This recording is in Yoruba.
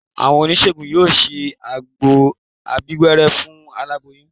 Àwọn oníṣègùn yóò ṣe àgbo abíwẹ́rẹ́ fún aláboyún